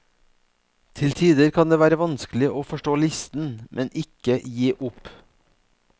Til tider kan det være vanskelig å forstå listen, men ikke gi opp.